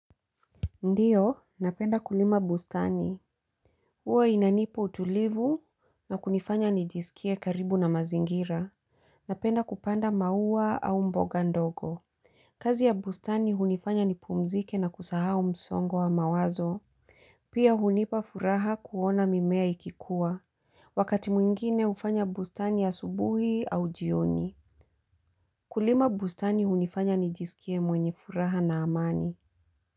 Ndiyo, napenda kulima bustani. Huwa inanipa utulivu na kunifanya nijisikie karibu na mazingira. Napenda kupanda maua au mboga ndogo. Kazi ya bustani hunifanya ni pumzike na kusahau msongo wa mawazo. Pia hunipa furaha kuona mimea ikikuwa. Wakati mwingine hufanya bustani ya asubuhi au jioni. Kulima bustani hunifanya nijisikie mwenye furaha na amani.